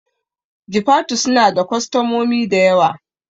Jifatu suna da kwastamomi dayawa